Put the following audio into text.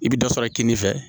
I bɛ dɔ sɔrɔ kini fɛ